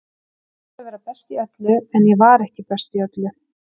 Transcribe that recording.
Ég átti að vera best í öllu, en ég var ekki best í öllu.